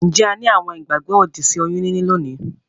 Njé a ni àwon ìgbàgbó òdì sí oyún níní lónìí?